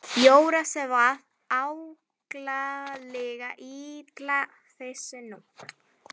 Jóra svaf ákaflega illa þessa nótt.